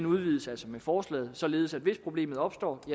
udvides altså med forslaget således at hvis problemet opstår